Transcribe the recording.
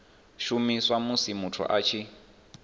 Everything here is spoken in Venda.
shumiswa musi muthu a tshi